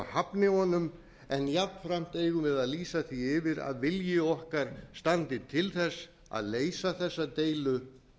hafni honum en jafnframt eigum við að lýsa því yfir að vilji okkar standi til þess að leysa þessa deilu